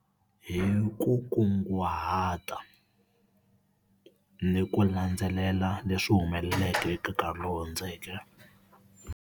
Hi ku kunguhata, ni ku landzelela leswi humeleleke eka nkarhi lowu hundzeke.